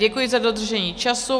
Děkuji za dodržení času.